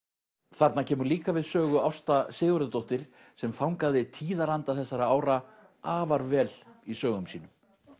þarna kemur líka við Sögu Ásta Sigurðardóttir sem fangaði tíðaranda þessara ára afar vel í sögum sínum